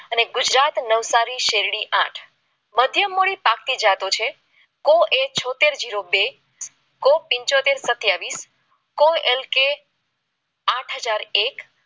ને ગુજરાત નવસારી શેરડી આઠ મધ્યમ મૂડી પાકતી જાતો છે એ છોતેર જેરો બે કો પંચોતેર સત્યાવીસ કો એલ કે અઠહાજર એક